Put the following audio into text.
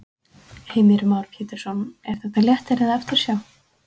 Heimir Már Pétursson: Er þetta léttir eða eftirsjá?